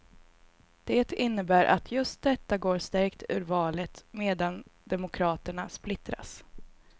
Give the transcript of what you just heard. Det innebär att just detta går stärkt ur valet, medan demokraterna splittras.